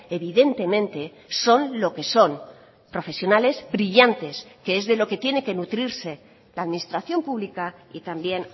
evidentemente son lo que son profesionales brillantes que es de lo que tiene que nutrirse la administración pública y también